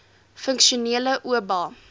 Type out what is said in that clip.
funksionele oba